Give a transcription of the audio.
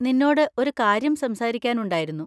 നിന്നോട് ഒരു കാര്യം സംസാരിക്കാനുണ്ടായിരുന്നു.